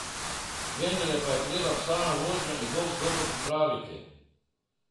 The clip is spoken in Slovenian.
Vendarle pa je treba psa na vožnjo in boks dobro pripraviti.